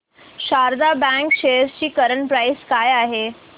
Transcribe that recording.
Sharda bank shares ची current price काय आहे